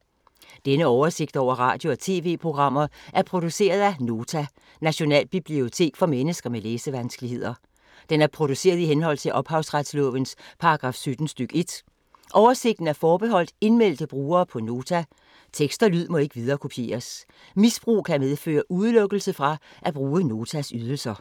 Denne oversigt over radio og TV-programmer er produceret af Nota, Nationalbibliotek for mennesker med læsevanskeligheder. Den er produceret i henhold til ophavsretslovens paragraf 17 stk. 1. Oversigten er forbeholdt indmeldte brugere på Nota. Tekst og lyd må ikke viderekopieres. Misbrug kan medføre udelukkelse fra at bruge Notas ydelser.